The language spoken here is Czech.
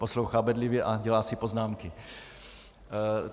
Poslouchá bedlivě a dělá si poznámky.